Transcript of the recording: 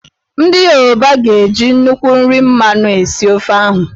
Ndị Yoruba ga-eji nnukwu nri mmanụ esi ofe ahụ